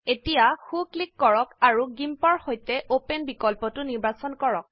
এতিয়া so click কৰক আৰু GIMPৰ সৈতে অপেন বিকল্পটো নিৰ্বাচন কৰক